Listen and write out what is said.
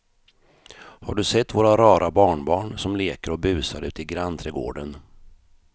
Har du sett våra rara barnbarn som leker och busar ute i grannträdgården!